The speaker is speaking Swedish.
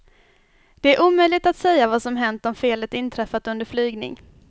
Det är omöjligt att säga vad som hänt om felet inträffat under flygning.